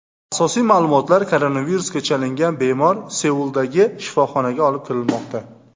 Asosiy ma’lumotlar Koronavirusga chalingan bemor Seuldagi shifoxonaga olib kirilmoqda.